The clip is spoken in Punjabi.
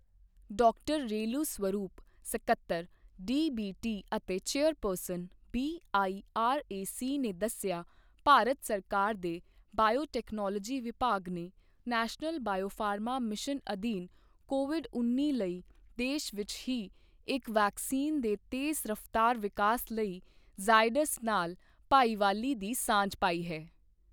ਡਾਕਟਰ ਰੇਲੂ ਸਵਰੂਪ, ਸਕੱਤਰ, ਡੀਬੀਟੀ ਅਤੇ ਚੇਅਰਪਰਸਨ, ਬੀਆਈਆਰਏਸੀ ਨੇ ਦੱਸਿਆ, ਭਾਰਤ ਸਰਕਾਰ ਦੇ ਬਾਇਓਟੈਕਨੋਲੋਜੀ ਵਿਭਾਗ ਨੇ ਨੈਸ਼ਨਲ ਬਾਇਓਫ਼ਾਰਮਾ ਮਿਸ਼ਨ ਅਧੀਨ ਕੋਵਿਡ ਉੱਨੀ ਲਈ ਦੇਸ਼ ਵਿੱਚ ਹੀ ਇੱਕ ਵੈਕਸੀਨ ਦੇ ਤੇਜ਼ ਰਫ਼ਤਾਰ ਵਿਕਾਸ ਲਈ ਜ਼ਾਇਡਸ ਨਾਲ ਭਾਈਵਾਲੀ ਦੀ ਸਾਂਝ ਪਾਈ ਹੈ।